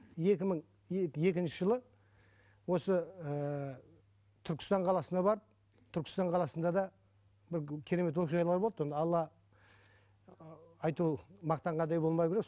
екі мың екінші жылы осы ыыы түркістан қаласына барып түркістан қаласында да бір керемет оқиғалар болды оны алла айту мақтанғандай болмау керек